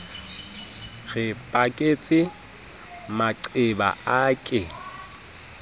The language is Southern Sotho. re baketse maqeba a ke